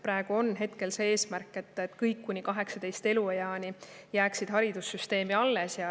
Praegu on ju eesmärk, et kõik õpilased kuni 18. eluaastani jääksid haridussüsteemi alles.